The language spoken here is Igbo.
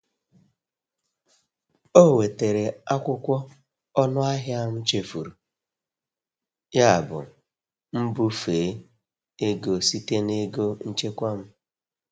Ọ wetara akwụkwọ ọnụ ahịa m chefuru, yabụ m bufee ego site na ego nchekwa m.